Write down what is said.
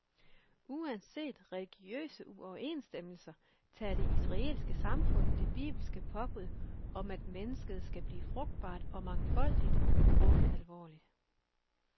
Uanset religiøse uoverensstemmelser tager det israelske samfund det bibelske påbud, om at mennesket skal blive frugtbart og mangfoldigt, grumme alvorligt.